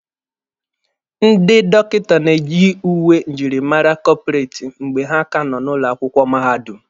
Ndị dọkịta na-eyi uwe njirimara kọpụreti mgbe ha ka nọ ụlọ akwụkwọ mahadum.